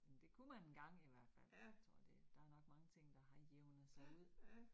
Men det kunne man engang i hvert fald, tror det der nok mange ting, der har jævnet sig ud